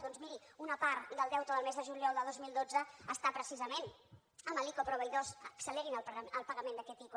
doncs miri una part del deute del mes de juliol de dos mil dotze està precisament amb l’ico a proveïdors accelerin el pagament d’aquest ico